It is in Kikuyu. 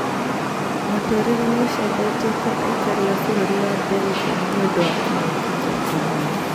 Mũtũrĩre ni ucejetie kwa aikari a bũrũri wa Belgin nĩũndũ wa kĩngũki kĩa corona